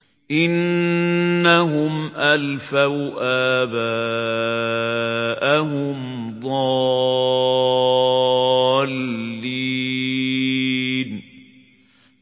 إِنَّهُمْ أَلْفَوْا آبَاءَهُمْ ضَالِّينَ